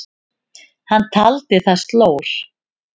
Hann taldi það slór.